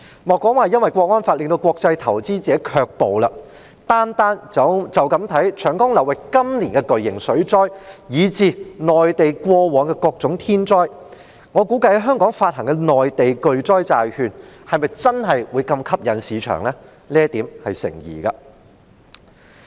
莫說《港區國安法》令國際投資者卻步，單看長江流域今年的巨型水災，以至內地過往的各種天災，我估計在香港發行的內地巨災債券在市場上是否真的會如此具吸引力，這點頗成疑問。